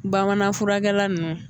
Bamanan furakɛla nunnu